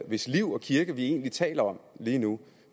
hvis liv og kirke vi egentlig taler om lige nu